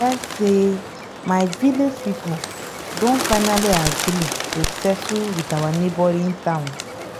i hear say my village people don finally agree to settle with our neighboring town